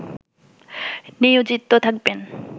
নিয়োজিত থাকবেন